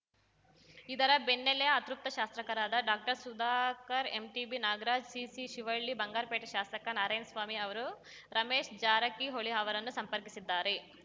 ಇದರ ಬೆನ್ನಲ್ಲೇ ಅತೃಪ್ತ ಶಾಸಕರಾದ ಡಾಕ್ಟರ್ಸುಧಾಕರ್‌ ಎಂಟಿಬಿ ನಾಗರಾಜ್‌ ಸಿಎಸ್‌ಶಿವಳ್ಳಿ ಬಂಗಾರಪೇಟೆ ಶಾಸಕ ನಾರಾಯಣ್ಸ್ವಾಮಿ ಅವರು ರಮೇಶ್‌ ಜಾರಕಿಹೊಳಿ ಅವರನ್ನು ಸಂಪರ್ಕಿಸಿದ್ದಾರೆ